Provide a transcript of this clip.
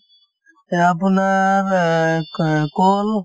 এহ্, আপোনাৰ অ ক কল